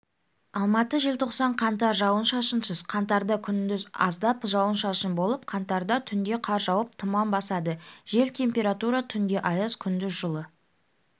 алматы желтоқсан қаңтар жауын-шашынсыз қаңтарда күндіз аздап жауын-шашын болып қаңтарда түнде қар жауып тұман басады жел температура түнде аяз күндіз жылы